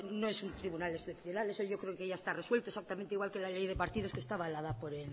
no es un tribunal excepcional eso yo creo que ya está resuelto exactamente igual que la ley de partidos que está avalada por